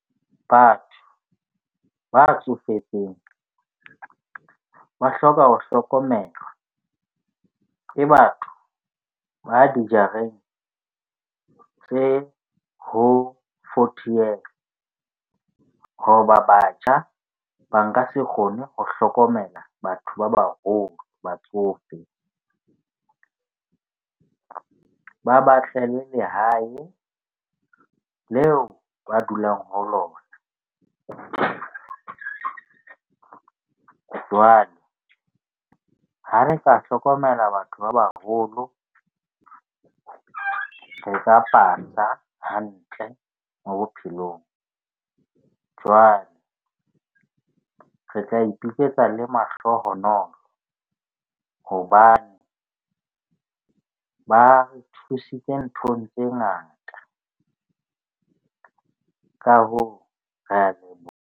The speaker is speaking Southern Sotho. Batho ba tsofetseng ba hloka ho hlokomelwa ke batho ba dijareng tse ho forty years. Hoba batjha ba nka se kgone ho hlokomela batho ba baholo, batsofe ba ba lehae leo ba dulang ho lona. Jwale ha re ka hlokomela batho ba baholo hantle mo bophelong. Jwale re tla ipitsetsa le mahlohonolo, hobane ba re thusitse nthong tse ngata. Ka hoo, re a .